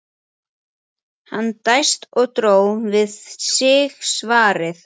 Hann dæsti og dró við sig svarið.